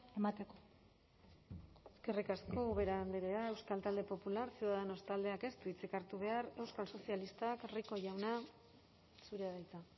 emateko eskerrik asko ubera andrea euskal talde popular ciudadanos taldeak ez du hitzik hartu behar euskal sozialistak rico jauna zurea da hitza